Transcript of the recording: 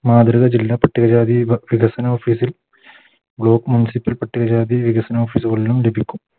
മാതൃക ജില്ലാ പട്ടിക ജാതി വിക വികസന Office ൽ Block municipal പട്ടിക ജാതി വികസന Office കളിലും ലഭിക്കും